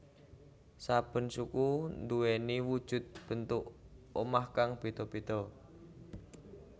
Saben suku nduweni wujud bentuk omah kang beda beda